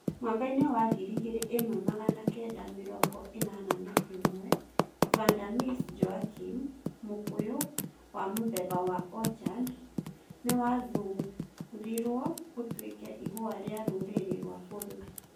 Mwaka-inĩ wa ngiri ĩmwe magana kenda mĩrongo ĩnana na ĩmwe [1981], Vanda Miss Joaquim, mũkũyũ wa mũthemba wa orchid, nĩ wathuurirũo ũtuĩke ihũa ria rũrĩrĩ rwa bũrũri